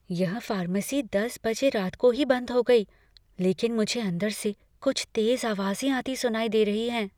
यह फार्मेसी दस बजे रात को ही बंद हो गई, लेकिन मुझे अंदर से कुछ तेज आवाजें आती सुनाई दे रही हैं।